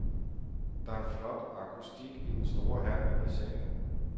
Der er en flot akustik i den store hal med bassinet.